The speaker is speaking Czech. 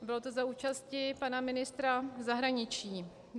Bylo to za účasti pana ministra zahraničí.